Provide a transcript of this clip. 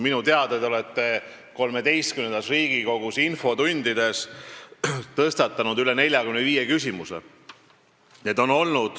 Minu teada te olete XIII Riigikogu infotundides tõstatanud üle 45 küsimuse.